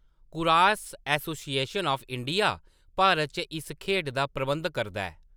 Kurash association of India Bharat च इस खेढ दा प्रबंध करदा ऐ।